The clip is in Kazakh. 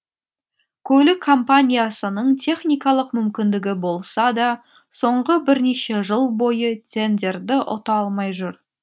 көлік компаниясының техникалық мүмкіндігі болса да соңғы бірнеше жыл бойы тендерді ұта алмай жүр